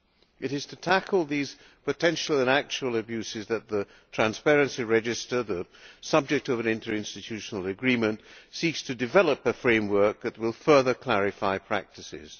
It is to tackle these potential and actual abuses that the transparency register the subject of an interinstitutional agreement seeks to develop a framework that will further clarify practices.